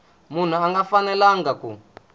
munhu a nga fanelanga ku